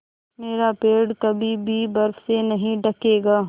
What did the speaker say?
मेरा पेड़ कभी भी बर्फ़ से नहीं ढकेगा